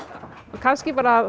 kannski